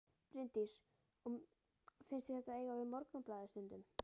Bryndís: Og finnst þér þetta eiga við Morgunblaðið stundum?